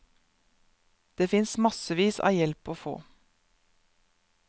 Det fins massevis av hjelp å få.